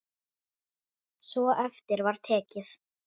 Svo eftir var tekið.